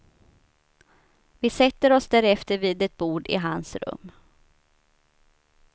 Vi sätter oss därefter vid ett bord i hans rum.